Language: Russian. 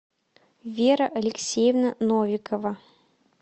вера алексеевна новикова